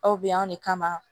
Aw bɛ yan anw de kama